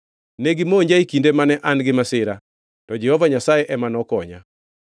Negimonja e kinde mane an gi masira, to Jehova Nyasaye ema nokonya.